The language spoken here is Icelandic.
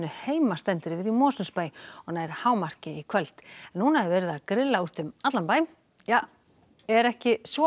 heima stendur yfir í Mosfellsbæ og nær hámarki í kvöld núna er verið að grilla úti um allan bæ er ekki svo